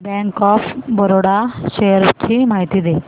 bank of Baroda shares ची माहिती दे